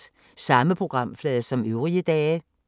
Samme programflade som øvrige dage